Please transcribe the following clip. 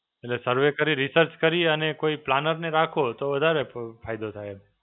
એટલે સરવે કરી, research કરી અને કોઈ planner ને રાખો તો વધારે ફ ફાયદો થાય.